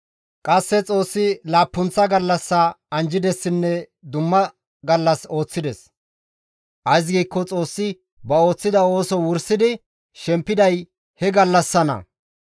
Qasse Xoossi laappunththa gallassaa anjjidessinne dumma gallas ooththides; ays giikko Xoossi ba ooththiza ooso wursidi shempiday he gallassanna.